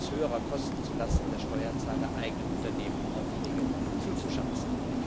höherer Kosten zu Lasten der Steuerzahler eigenen Unternehmen Aufträge zuzuschanzen.